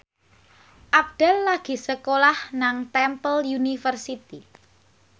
Abdel lagi sekolah nang Temple University